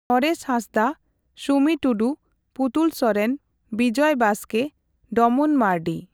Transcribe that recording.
Naresh Hansda, Sumi Tudu, Putul Soren, Bijoy Baske, Domon Mardi.